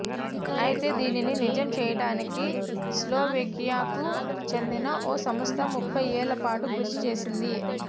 అయితే దీనిని నిజం చేయటానికి స్లోవేకియాకు చెందిన ఓ సంస్థ ముప్ఫై ఏళ్ల పాటు కృషి చేసింది